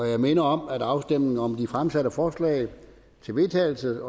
jeg minder om at afstemning om de fremsatte forslag til vedtagelse